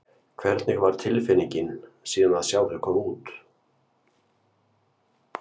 Hvernig var tilfinningin síðan að sjá þau koma út?